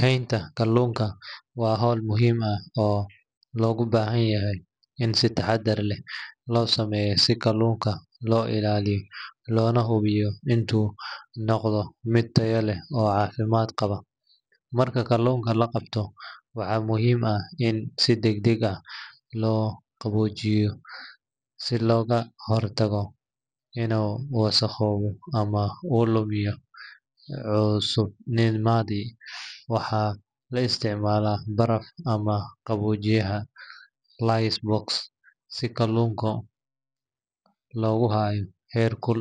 Haynta kaluunka waa hawl muhiim ah oo looga baahan yahay in si taxaddar leh loo sameeyo si kaluunka loo ilaaliyo loona hubiyo inuu noqdo mid tayo leh oo caafimaad qaba. Marka kaluunka la qabto, waxaa muhiim ah in si degdeg ah loo qaboojiyo si looga hortago inuu wasakhoobo ama uu lumiyo cusubnimadiisa. Waxaa la isticmaalaa baraf ama qaboojiyaha ice box si kaluunka loogu hayo heerkul